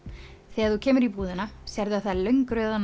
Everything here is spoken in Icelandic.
þegar þú kemur í búðina sérðu að það er löng röð á